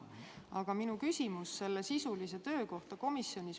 Aga minu küsimus on sisulise töö kohta komisjonis.